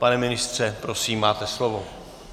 Pane ministře, prosím, máte slovo.